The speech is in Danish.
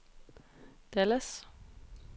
Dallas